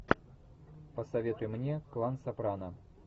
посоветуй мне клан сопрано